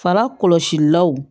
Fara kɔlɔsilaw